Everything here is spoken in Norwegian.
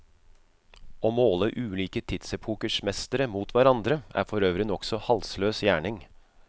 Å måle ulike tidsepokers mestere mot hverandre er forøvrig nokså halsløs gjerning.